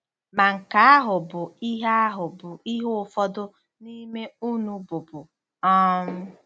Ma nke ahụ bụ ihe ahụ bụ ihe ụfọdụ n'ime unu bụbu um.